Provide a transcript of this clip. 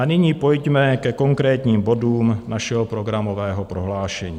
A nyní pojďme ke konkrétním bodům našeho programového prohlášení.